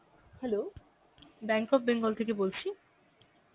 hello, Bank of Bengal থেকে বলছি